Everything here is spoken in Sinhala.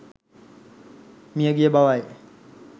මියගිය බවයි